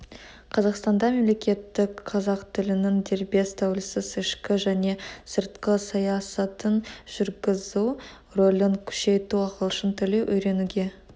қазақстанда мемлекеттік қазақ тілінің дербес тәуелсіз ішкі және сыртқы саясатын жүргізу рөлін күшейту ағылшын тілін үйренуге